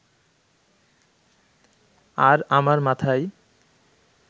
আর আমার মাথায়